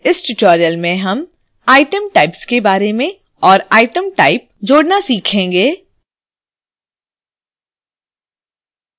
इस tutorial में हम item types के बारे में और item type जोड़ना सीखेंगे